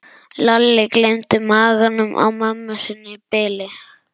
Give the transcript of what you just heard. Lalli gleymdi maganum á mömmu sinni í bili.